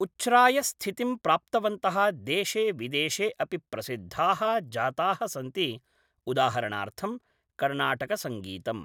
उछ्रायस्थितिं प्राप्तवन्तः देशे विदेशे अपि प्रसिद्धाः जाताः सन्ति उदाहरणार्थं कर्णाटकसङ्गीतम्।